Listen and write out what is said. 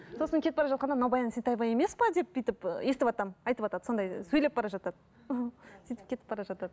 сосын кетіп бара жатқанда мынау баян есентаева емес пе деп бүйтіп і естіватамын айтыватады сондай сөйлеп бара жатады сөйтіп кетіп бара жатады